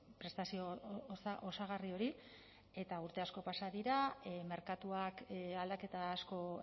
prestazio osagarri hori eta urte asko pasa dira merkatuak aldaketa asko